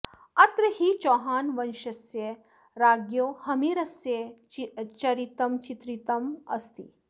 अत्र हि चौहान वंश्यस्य राज्ञो हम्मीरस्य चरितं चित्रितमस्ति